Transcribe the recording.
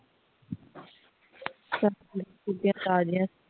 ਸਭ ਕੁਝ ਉਹਦੀਆਂ ਤਾਜ਼ੀਆਂ